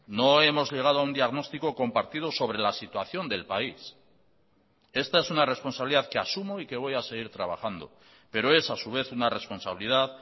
no hemos llegado a un diagnóstico compartido sobre la situación del país esta es una responsabilidad que asumo y que voy a seguir trabajando pero es a su vez una responsabilidad